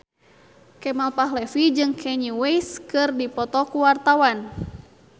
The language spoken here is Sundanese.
Kemal Palevi jeung Kanye West keur dipoto ku wartawan